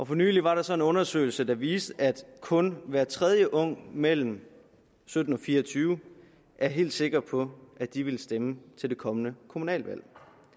for nylig var der så en undersøgelse der viste at kun hver tredje ung mellem sytten og fire og tyve år er helt sikker på at de vil stemme til det kommende kommunalvalg